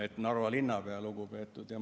Ta on Narva linnapea, lugupeetud inimene.